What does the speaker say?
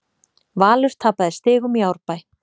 Valur tapaði stigum í Árbæ